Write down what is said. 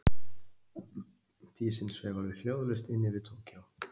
Dísin sveif alveg hljóðlaust inn yfir Tókýó.